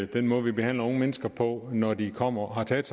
den måde vi behandler unge mennesker på når de kommer og har taget